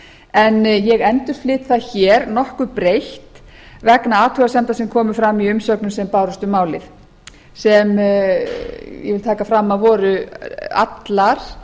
en ég endurflyt það hér nokkuð breytt vegna athugasemda sem komu fram í umsögnum sem bárust um málið sem ég vil taka fram að voru allar